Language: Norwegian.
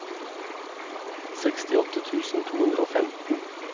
sekstiåtte tusen to hundre og femten